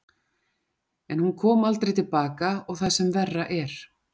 En hún kom aldrei til baka og það sem verra er.